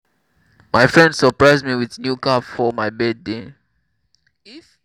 my friend surprise me with new car for my birthday